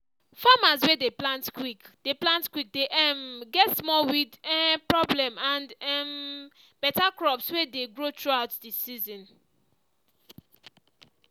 farmers way dey plant quick dey plant quick dey um get small weed um problem and um beta crops way dey grow throughout the season.